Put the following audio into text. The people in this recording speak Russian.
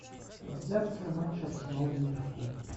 трансляция матча арсенал ливерпуль